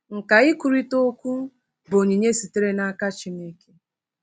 Nkà ikwurịta okwu bụ onyinye sitere n’aka Chineke.